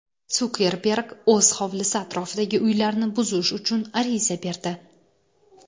Sukerberg o‘z hovlisi atrofidagi uylarni buzish uchun ariza berdi.